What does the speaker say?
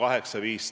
Aeg sai otsa.